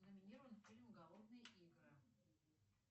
номинирован фильм голодные игры